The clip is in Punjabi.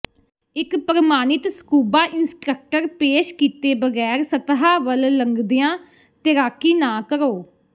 ਇੱਕ ਪ੍ਰਮਾਣਿਤ ਸਕੂਬਾ ਇੰਸਟ੍ਰਕਟਰ ਪੇਸ਼ ਕੀਤੇ ਬਗੈਰ ਸਤ੍ਹਾ ਵੱਲ ਲੰਘਦਿਆਂ ਤੈਰਾਕੀ ਨਾ ਕਰੋ